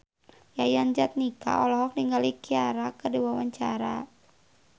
Yayan Jatnika olohok ningali Ciara keur diwawancara